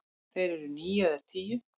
Þeir eru níu eða tíu.